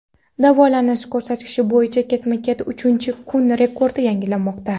Davolanish ko‘rsatkichi bo‘yicha ketma-ket uchinchi kun rekord yangilanmoqda.